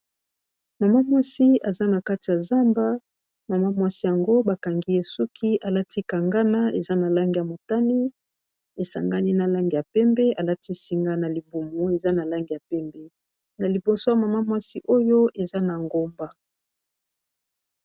Mama muasi aza na kati ya zamba, mama muasi yango ba kangi ye suki alati Kangana eza na langi ya motane esangani na langi ya pembe. Alati singa na libumu eza na langi ya pembe, na liboso ya mama muasi oyo eza na ngomba.